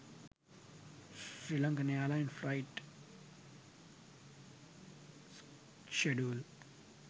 sri lankan airline flight schedule